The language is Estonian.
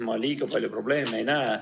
Ma erilisi probleeme ei näe.